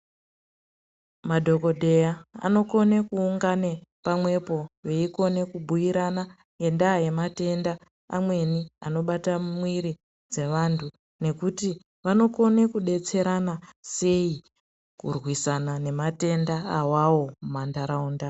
Madhogodheya anokone kuungana pamwepo veikone kubhuirana ngendaa yematenda amweni anobata mumwiri dzevantu. Nekuti vanokone kubetserana sei kurwisana nematenda awawo mumantraunda.